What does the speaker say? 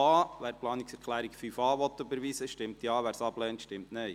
Wer die Planungserklärung 5.a überweisen will, stimmt Ja, wer dies ablehnt, stimmt Nein.